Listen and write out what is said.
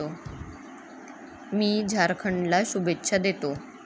मी झारखंडला शुभेच्छा देतो.